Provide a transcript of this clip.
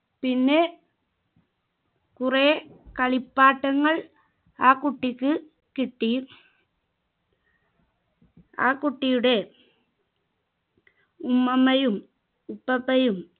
പിന്നെ കുറെ കളിപ്പാട്ടങ്ങൾ ആ കുട്ടിക്ക് കിട്ടി ആ കുട്ടിയുടെ ഉമ്മാമയും